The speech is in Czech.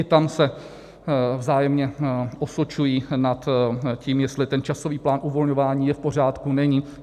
I tam se vzájemné osočují nad tím, jestli ten časový plán uvolňování je v pořádku, není.